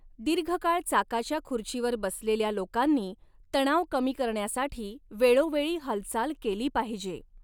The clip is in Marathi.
दीर्घकाळ चाकाच्या खुर्चीवर बसलेल्या लोकांनी तणाव कमी करण्यासाठी वेळोवेळी हालचाल केली पाहिजे.